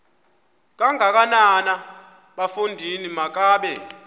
kangakanana bafondini makabe